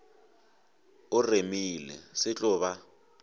o remile se tlo ba